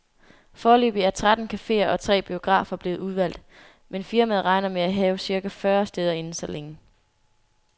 Foreløbig er tretten cafeer og tre biografer blevet udvalgt, men firmaet regner med at have cirka fyrre steder inden så længe.